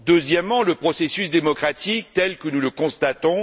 Deuxièmement, il y a le processus démocratique, tel que nous le constatons.